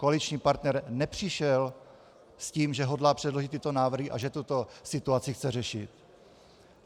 Koaliční partner nepřišel s tím, že hodlá předložit tyto návrhy a že tuto situaci chce řešit.